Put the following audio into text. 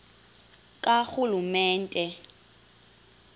karhulumente